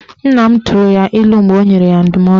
Nna m tụrụ ya ilu mgbe ọ nyere ya ndụmọdụ